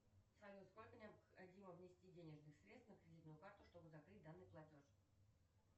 салют сколько необходимо внести денежных средств на кредитную карту чтобы закрыть данный платеж